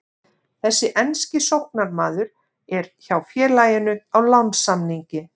Þessi enski sóknarmaður er hjá félaginu á lánssamningi.